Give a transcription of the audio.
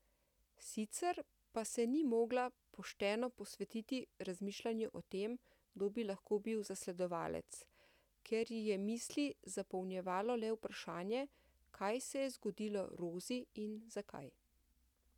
Sicer pa se ni mogla pošteno posvetiti razmišljanju o tem, kdo bi lahko bil zasledovalec, ker ji je misli zapolnjevalo le vprašanje, kaj se je zgodilo Rozi in zakaj.